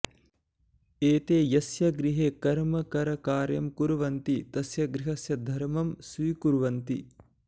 एते यस्य गृहे कर्मकरकार्यं कुर्वन्ति तस्य गृहस्य धर्मं स्वीकुर्वन्ति